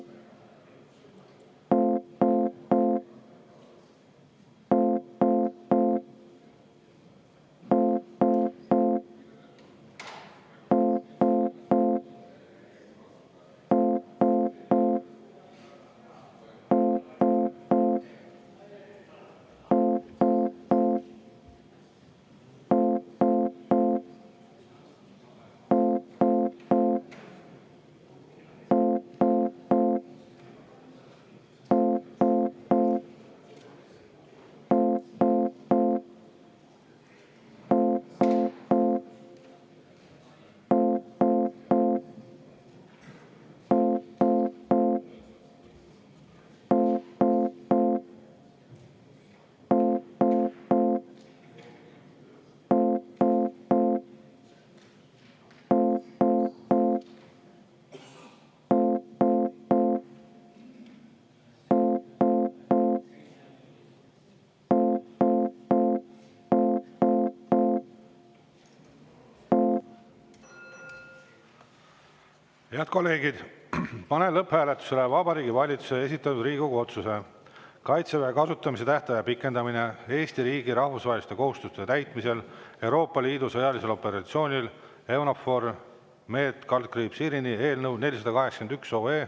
Head kolleegid, panen lõpphääletusele Vabariigi Valitsuse esitatud Riigikogu otsuse "Kaitseväe kasutamise tähtaja pikendamine Eesti riigi rahvusvaheliste kohustuste täitmisel Euroopa Liidu sõjalisel operatsioonil EUNAVFOR Med/Irini" eelnõu 481.